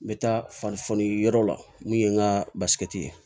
N bɛ taa fani yɔrɔ la n'u ye n ka ye